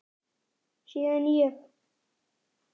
Síðan ég